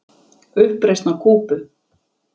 Uppreisn á Kúbu!